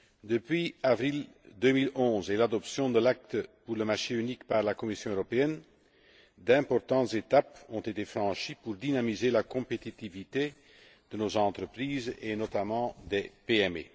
Depuis avril 2011 et l'adoption de l'acte pour le marché unique par la Commission européenne, d'importantes étapes ont été franchies pour dynamiser la compétitivité de nos entreprises, et notamment des PME.